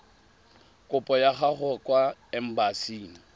kopo ya gago kwa embasing